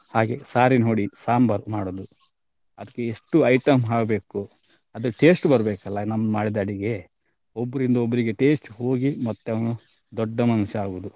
ಹಾಗೆ ಸಾರಿನ್ ಹುಡಿ ಸಾಂಬಾರ್ ಮಾಡುದು ಅದ್ಕೆ ಎಷ್ಟು item ಹಾಕ್ಬೇಕು ಅದು taste ಬರ್ಬೇಕಲ್ಲ ನಾವ್ ಮಾಡಿದ ಅಡಿಗೆ ಒಬ್ಬರಿಂದ ಒಬ್ಬರಿಗೆ taste ಹೋಗಿ ಮತ್ತೆ ಅವನು ದೊಡ್ಡ ಮನುಷ್ಯ ಆಗುದು.